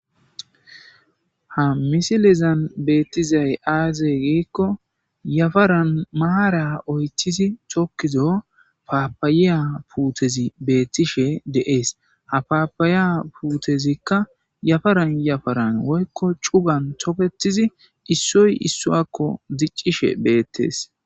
Ha misilazan beetizay aaze giikko yafaran maaran oythodi tokkizo paappaya puutezi beetishe de7ees.ha paappaya puutezikka yafaran yafaran woykko cugan tokettidi issoy ossowaakko dicishe beetes.